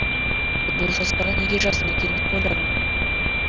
бұл жазбаны неге жаздым екен деп ойладым